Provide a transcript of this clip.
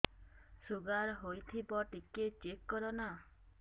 sugar ହେଇଥିବ ଟିକେ check କର ନା